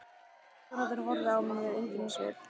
Lögregluþjónarnir horfðu á mig með undrunarsvip.